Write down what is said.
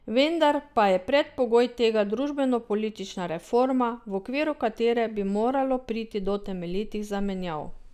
Vendar pa je predpogoj tega družbenopolitična reforma, v okviru katere bi moralo priti do temeljitih zamenjav.